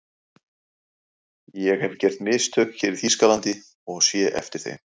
ÉG hef gert mistök hér í Þýskalandi og sé eftir þeim.